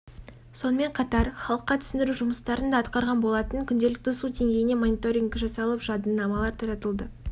мен алдын алуда жан-жақты көмек көрсетіп каналдармен арықтарды тазартумен айналысып тек құтқару істерін ғана емес